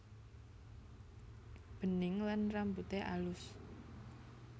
Bening lan rambute alus